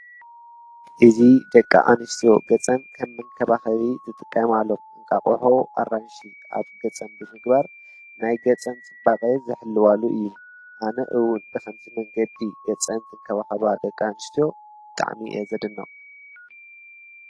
እዚ ደቂ ኣንስትዮ ገፀን ከም መንከባኸቢ ዝጥቀማሉ እንቋቁሖ፣ አራንሺ አብ ገፀን ብምግባር ናይ ገፀን ፅባቐ ዝሕልዋሉ እዩ። አነ እውን ብኸምዚ መንገዲ ገፀን ዝንከባኸባ ደቂኣንስትዮ ብጣዕሚ እየ ዘድንቅ ።